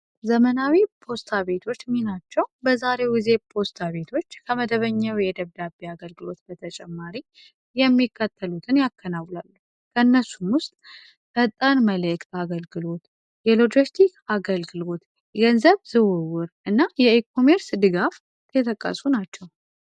ዘመናዊ ፖስታ ቤቶች ሚናቸው በዛሬው ጊዜ ፖስታ ቤቶች ከመደበኛው የደብዳቤ አገልግሎት በተጨማሪ የሚከተሉትን ያከናውናሉ ከእነሱም ውስጥ ፈጣን መለእክት አገልግሎት ፣የሎጂስቲክ አገልግሎት ፣ገንዘብ ዝውውር እና የኤኮሜርስ ድጋፍ የተቀሱ ናቸው።